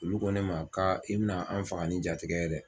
Olu ko ne ma ka i bɛna an faga ni jatigɛ ye dɛ.